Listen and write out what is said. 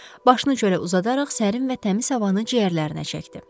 Başını çölə uzadaraq sərin və təmiz havanı ciyərlərinə çəkdi.